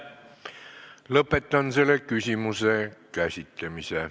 Lõpetan selle küsimuse käsitlemise.